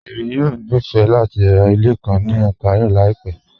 Èmi yọ̀ ní fẹ̀ lati rá ilẹ̀ kàn ní Ontario laípẹ̀